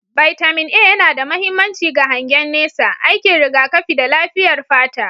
Bitamin A yana da mahimmanci ga hangen nesa, aikin rigakafi, da lafiyar fata.